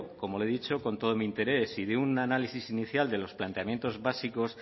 como le he dicho con todo mi interés y de un análisis inicial de los planteamientos básicos